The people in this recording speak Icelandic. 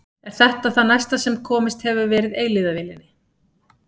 Er þetta það næsta sem komist hefur verið eilífðarvélinni?